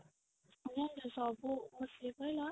ସବୁ ସିଏ କହିଲା